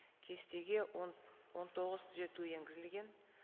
кестеге он тоғыз түзету енгізілген